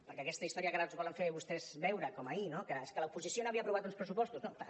perquè aquesta història que ara ens volen fer vostès veure com ahir no que és que l’oposició no havia aprovat uns pressupostos no clar